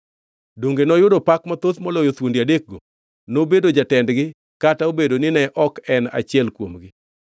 Donge noyudo pak mathoth moloyo thuondi adekgo? Nobedo jatendgi kata obedo nine ok en achiel kuomgi.